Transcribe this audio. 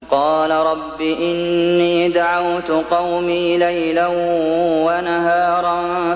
قَالَ رَبِّ إِنِّي دَعَوْتُ قَوْمِي لَيْلًا وَنَهَارًا